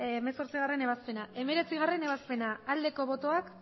ebazpena hemeretzigarrena ebazpena aldeko botoak